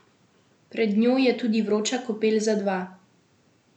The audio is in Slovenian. Pred njo je tudi vroča kopel za dva.